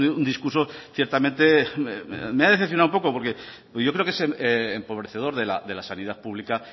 un discurso ciertamente me ha decepcionado un poco porque yo creo es empobrecedor de la sanidad pública